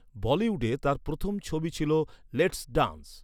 বলিউডে তার প্রথম ছবি ছিল লেটস ড্যান্স।